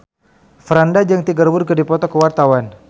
Franda jeung Tiger Wood keur dipoto ku wartawan